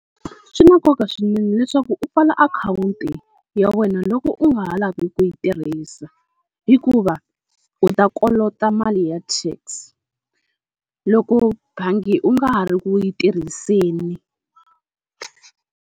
Swi na nkoka swinene leswaku u pfala akhawunti ya wena loko u nga ha lavi ku yi tirhisa, hikuva u ta kolota mali ya tax loko bangi u nga ha ri ku yi tirhiseni.